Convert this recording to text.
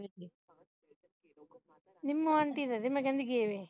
Nimmo aunty ਦੇ ਮੈਂ ਕਹਿੰਦੇ ਗਾਏ ਦੇ